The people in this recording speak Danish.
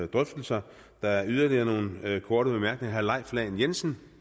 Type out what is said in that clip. drøftelser der er yderligere nogle korte bemærkninger herre leif lahn jensen